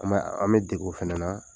An b'a an be deg'o fɛnɛ na.